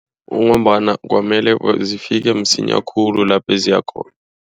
Kungombana kwamele zifike msinya khulu lapho ziyakhona.